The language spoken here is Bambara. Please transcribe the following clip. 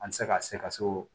An tɛ se ka se ka se o